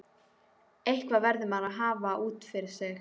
Eitthvað verður maður að hafa út af fyrir sig.